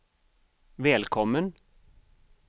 välkommen